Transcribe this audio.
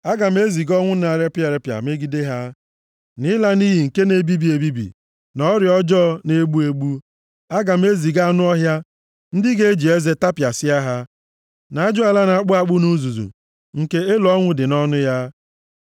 Aga m eziga ọnwụ na-eripịa eripịa megide ha, na ịla nʼiyi nke na-ebibi ebibi, na ọrịa ọjọọ na-egbu egbu. Aga m eziga anụ ọhịa ndị ga-eji eze tapịasịa ha, na ajụala na-akpụ akpụ nʼuzuzu, nke elo ọnwụ dị nʼọnụ ya.